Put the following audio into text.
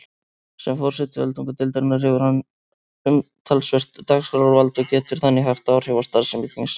Sem forseti öldungadeildarinnar hefur hann umtalsvert dagskrárvald og getur þannig haft áhrif á starfsemi þingsins.